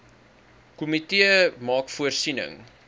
komitee maak voorsiening